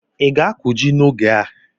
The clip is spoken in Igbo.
Ị ga-akụ ji n'oge a?